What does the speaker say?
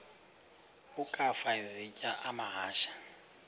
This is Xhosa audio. ukafa isitya amahashe